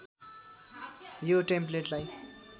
यो टेम्प्लेटलाई